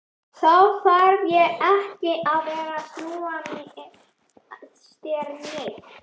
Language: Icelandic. Þá þarf ég ekki að vera að snúa þér neitt.